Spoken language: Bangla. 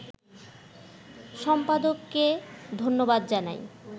সম্পাদককে ধন্যবাদ জানাই